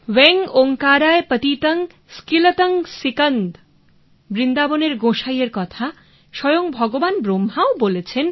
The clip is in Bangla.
ওয়েং ওঁকারায় পতিতং স্কিলতং সিকদং বৃন্দাবনের গোঁসাই এর কথা স্বয়ং ভগবান ব্রহ্মাও বলেছেন